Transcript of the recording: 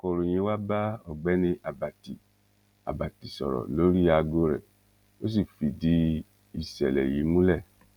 akọròyìn wá bá ọgbẹni àbàtì àbàtì sọrọ lórí aago rẹ ó sì fìdí ìṣẹlẹ yìí múlẹ